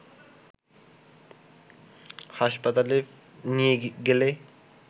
হাসপাতালে নিয়ে গেলে